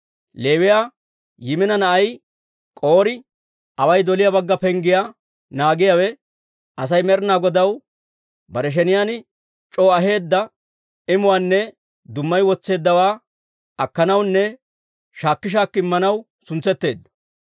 Leewiyaa Yimina na'ay K'orii, away doliyaa bagga penggiyaa naagiyaawe, Asay Med'inaa Godaw bare sheniyaan c'oo aheedda imuwaanne dummayi wotseeddawaa akkanawunne shaakki shaakki Immanaw suntsetteedda.